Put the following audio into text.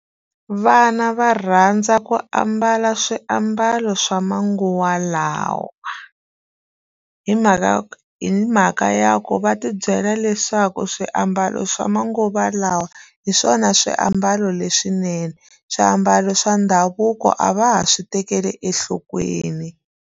Vana va rhandza ku ambala swiambalo swa manguva lawa hi mhaka ku hi mhaka ya ku va tibyela na leswaku swiambalo swa manguva lawa hi swona swiambalo leswinene swiambalo swa ndhavuko a va ha swi tekeli enhlokweni.